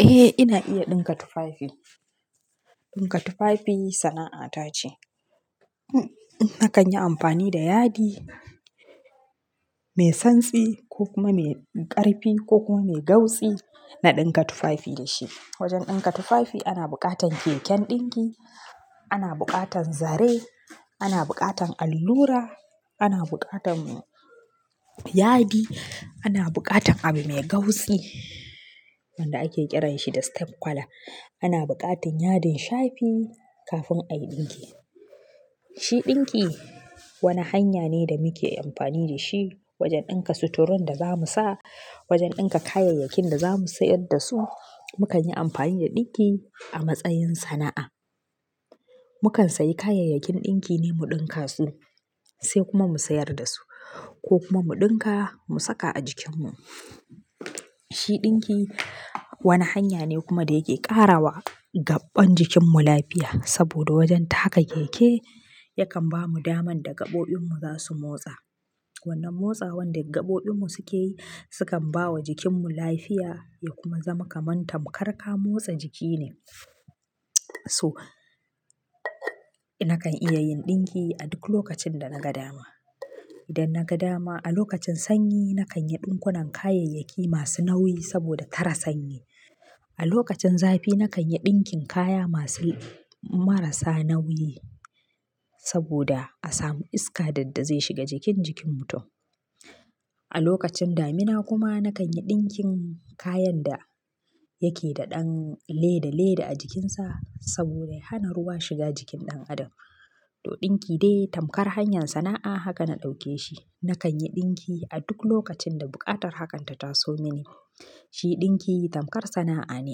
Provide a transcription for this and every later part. Eh, ina iya ɗinka tufafi. Ɗinka tufafi sana'a ta ce. Nakan yi amfani da yadi mai santsi ko kuma mai ƙarfi ko kuma mai gautsi na ɗinka tufafi da shi. Wajen ɗinka tufafi ana buƙatan keken ɗinki, ana buƙatan zare, ana buƙatan allura, ana buƙatan yadi, ana buƙatan abu mai gautsi wanda ake ƙiranshi da step kwala. Ana buƙatan yadin shafi kafin ayi ɗinki. Shi ɗinki wani hanya ne da muke amfani da shi wajen ɗinka suturun da zamu sa, wajen ɗinka kayayyakin da zamu sayar da su. Mukan yi amfani da ɗinki a matsayin sana'a. Mukan sayi kayayyakin ɗinki ne mu ɗinka su sai kuma mu sayar da su ko kuma mu ɗinka mu saka a jikinmu. Shi ɗinki wani hanya ne kuma da yake ƙara wa gaɓɓan jikinmu lafiya saboda wajen taka keke yakan bamu daman da gaɓoɓinmu za su motsa. Wannan motsa wanda gaɓoɓinmu suke yi sukan bawa jikinmu lafiya ya kuma zama kamanta. Muƙar ka motsa jiki ne. So nakan iya yin ɗinki a duk lokacin da naga dama. Idan na ga dama a lokacin sanyi nakan yi ɗinkunan kayayyaki masu nauyi saboda tara sanyi. A lokacin zafi nakan yi ɗinkin kaya masu marasa nauyi saboda a samu iska dadda zai shiga jikin jikin mutum. A lokacin damina kuma nakan yi ɗinkin kayan da yake da ɗan leda leda a jikinsa saboda ya hana ruwa shiga jikin ɗan adam. To ɗinki dai tamkar hanyar sana'a haka na ɗauke shi. Nakan yi ɗinki a duk lokacin da buƙatar hakan ta taso mini. Shi ɗinki tamkar sana'a ne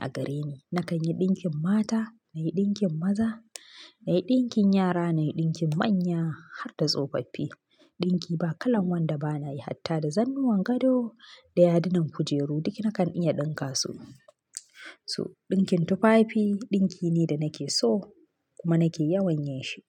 a gare ni. Nakan yi ɗinkin mata, na yi ɗinkin maza, na yi ɗinkin yara, na yi ɗinkin manya har da tsofaffi. Ɗinki ba kalan wanda bana yi, hatta da zannuwan gado da yadunan kujeru duk nakan iya ɗinka su. So ɗinkin tufafi ɗinki ne da nake so kuma nake yawan yin shi.